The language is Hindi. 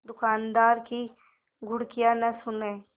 दुकानदार की घुड़कियाँ न सुने